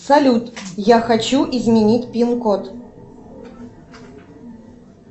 салют я хочу изменить пин код